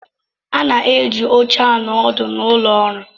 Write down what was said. A na-eji oche anọ ọdụ n'ụlọ ọrụ.